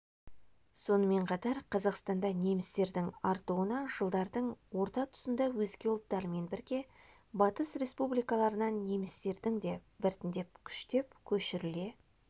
сонымен қатар қазақстанда немістердің артуына жылдардың орта тұсында өзге ұлттармен бірге батыс республикаларынан немістердің де біртіндеп күштеп көшіріле